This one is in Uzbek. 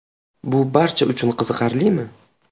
Bu barcha uchun qiziqarlimi?